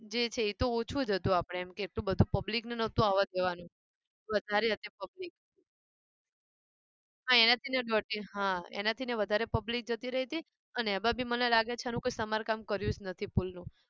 જે છે એતો ઓંછુ જ હતું આપણે એમ એટલું બધું public ને નહતું આવા જવાનું વધારે હતી public હા એનાથી હા એનાથી ને વધારે public જતી રહી હતી. અને એમાં બી મને લાગે છે કે એનું કઈ સમાર કામ કર્યું જ નથી પુલનું